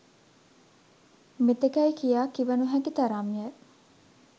මෙතෙකැයි කියා කිව නොහැකි තරම් ය.